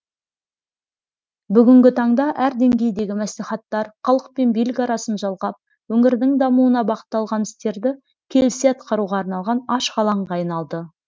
бүгінгі таңда әр деңгейдегі мәслихаттар халық пен билік арасын жалғап өңірдің дамуына бағытталған істерді келісе атқаруға арналған ашық алаңға айналды